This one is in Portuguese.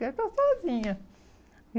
Quero estar sozinha.